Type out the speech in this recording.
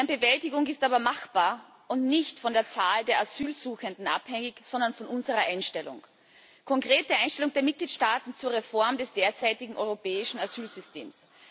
Deren Bewältigung ist aber machbar, und nicht von der Zahl der Asylsuchenden abhängig, sondern von unserer Einstellung, der konkreten Einstellung der Mitgliedstaaten zur Reform des derzeitigen europäischen Asylsystems.